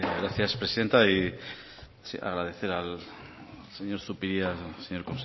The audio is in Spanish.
gracias presidenta y agradecer al señor zupiria señor